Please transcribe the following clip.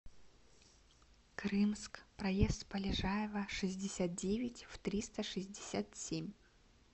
крымск проезд полежаева шестьдесят девять в триста шестьдесят семь